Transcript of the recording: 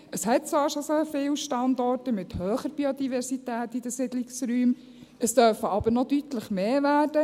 Es hat zwar schon sehr viele Standorte mit hoher Biodiversität in den Siedlungsräumen, es dürfen aber noch deutlich mehr werden.